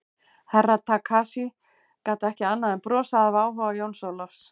Herra Takashi gat ekki annað en brosað af áhuga Jóns Ólafs.